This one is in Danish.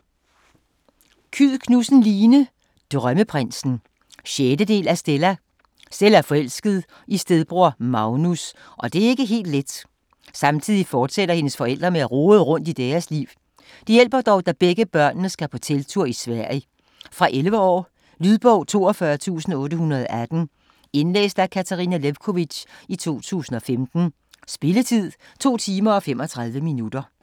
Kyed Knudsen, Line: Drømmeprinsen 6. del af Stella. Stella er forelsket i stedbror Magnus, og det er ikke helt let. Samtidig fortsætter hendes forældre med at rode rundt i deres liv. Det hjælper dog, da begge børnene skal på telttur i Sverige. Fra 11 år. Lydbog 42818 Indlæst af Katarina Lewkovitch, 2015. Spilletid: 2 timer, 35 minutter.